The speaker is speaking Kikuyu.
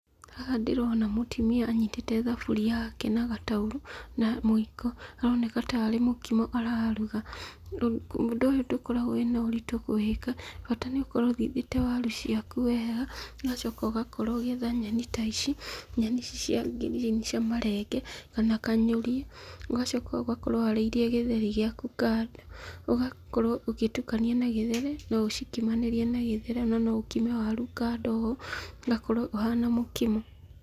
Haha ndĩrona mũtumia anyitĩte thaburia yake na gataurũ, na mũiko. Aroneka ta arĩ mũkimo araruga. Ũndũ ũyũ ndũkoragwo wĩna ũritũ kũwĩka, bata nĩũkorwo ũthigĩte waru ciaku wega, ũgacoka ũgakorwo ũgĩetha nyeni ta ici, nyeni ici cia ngirini cia marenge, kana kanyũria, ũgacoka ũgakorwo ũharĩirie gĩtheri gĩaku kando, ũgakorwo ũgĩtukania na gĩtheri, noũcikimanĩrie na gĩtheri na noũkime waru kando ũũ, ũgakorwo ũhana mũkimo.